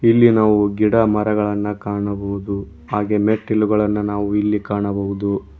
ಇಲ್ಲಿ ನಾವು ಗಿಡಮರಗಳನ್ನ ಕಾಣಬಹುದು ಹಾಗೆ ಮೆಟ್ಟಿಲುಗಳನ್ನ ನಾವು ಇಲ್ಲಿ ಕಾಣಬಹುದು.